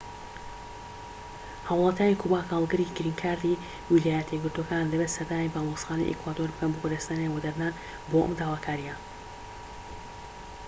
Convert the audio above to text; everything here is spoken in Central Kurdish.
هاوڵاتیانی کوبا کە هەڵگری گرین کاردی ویلایەتە یەکگرتوەکانن دەبێت سەردانی باڵێۆزخانەی ئیکوادۆر بکەن بۆ بەدەستهێنانی وەدەرنان بۆ ئەم داواکاریە